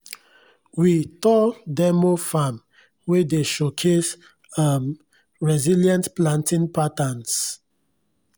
we tour demo farm wey dey showcase um resilient planting patterns